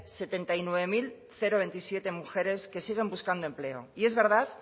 setenta y nueve mil veintisiete mujeres que siguen buscando empleo y es verdad